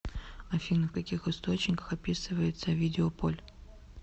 афина в каких источниках описывается овидиополь